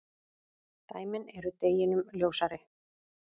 Dæmin eru deginum ljósari.